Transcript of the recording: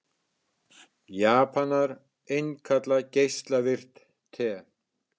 Japanar innkalla geislavirkt te